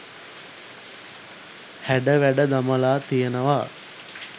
හැඩ වැඩ දමලා තියෙනවා.